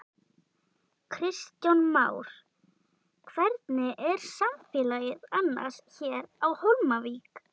Kristján Már: Hvernig er samfélagið annars hér á Hólmavík?